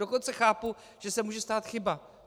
Dokonce chápu, že se může stát chyba.